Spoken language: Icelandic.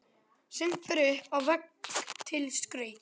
Sumt fer upp á vegg til skrauts.